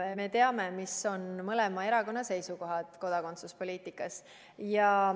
Me teame, mis on mõlema erakonna seisukohad kodakondsuspoliitikas.